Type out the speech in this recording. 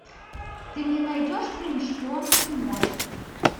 ты мне найдешь фильм шпионский мост